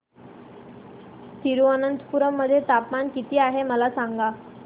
तिरूअनंतपुरम मध्ये तापमान किती आहे मला सांगा